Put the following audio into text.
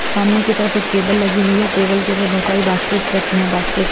सामने की तरफ एक टेबल लगी हुई है टेबल के ऊपर बहुत सारी बास्केट्स रखी हैं बास्केट्स --